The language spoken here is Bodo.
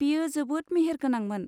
बेयो जोबोद मेहेरगोनांमोन।